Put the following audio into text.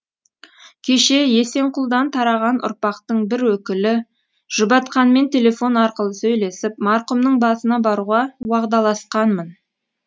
кеше есенқұлдан тараған ұрпақтың бір өкілі жұбатқанмен телефон арқылы сөйлесіп марқұмның басына баруға уағдаласқанмын